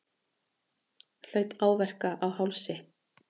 Hlaut áverka á hálsi